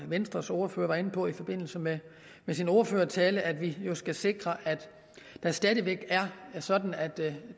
venstres ordfører var inde på i sin ordførertale om at vi skal sikre at det stadig væk er sådan at